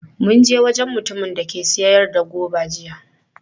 Mun je wajen mutumin da ke sayar da goba jiya.